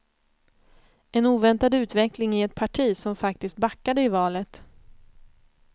En oväntad utveckling i ett parti som faktiskt backade i valet.